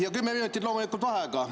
Ja kümme minutit loomulikult vaheaega.